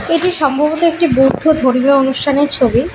এটি সম্ভবত একটি বৌদ্ধ ধর্মীয় অনুষ্ঠানের ছবি।